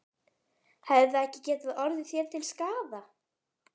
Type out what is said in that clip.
Hefði það ekki getað orðið þér til skaða?